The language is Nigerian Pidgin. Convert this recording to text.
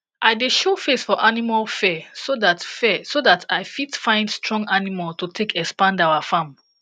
i dey show face for animal fair so that fair so that i fit find strong animal to take expand our farm